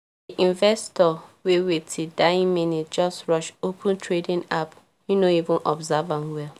di investor wey wait till dying minute just rush open trading app him no even observe am well